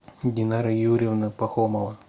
динара юрьевна пахомова